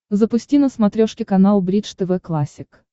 запусти на смотрешке канал бридж тв классик